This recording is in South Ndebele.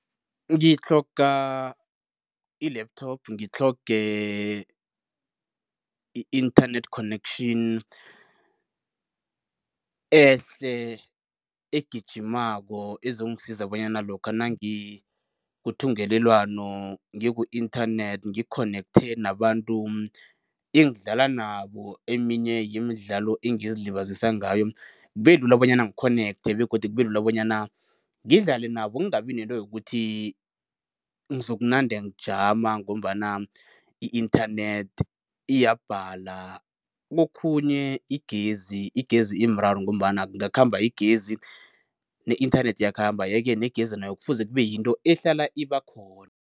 Ngitlhoga i-laptop, ngitlhoge i-internet connection ehle, egijimako, ezongisiza bonyana lokha nangikuthungelelwano ngiku-inthanethi ngi-connect nabantu engadlala nabo eminye yemidlalo engezilibazisa ngayo, kube lula bonyana ngikhonekthe begodu kube lula bonyana ngidlale nabo. Ngingabi nento yokuthi ngizokunande ngijama ngombana i-internet iyabhala. Kokhunye igezi, igezi imraro ngombana kungakhamba igezi, ne-inthanethi iyakhamba yeke negezi nayo kufuze kube yinto ehlala iba khona.